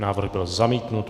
Návrh byl zamítnut.